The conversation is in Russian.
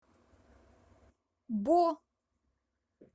бо